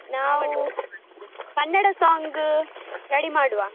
ನಾವೂ Kannada song ready ಮಾಡುವ.